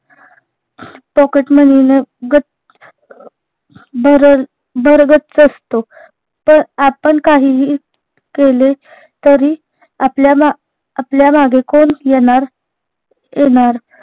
pocketmoney ने गच् भरल भरगच्च असतो तार आपन काहीही केले तरी आपल्याला आपल्यामागे कोण येणार येणार